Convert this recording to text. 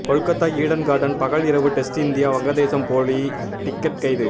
Kolkata Eden Garden பகல் இரவு test India வங்கதேசம் போலி டிக்கெட் கைது